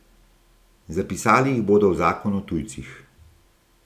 Zapisali jih bodo v zakon o tujcih.